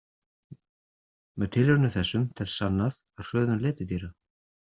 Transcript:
Með tilraunum þessum telst sannað að hröðun letidýra.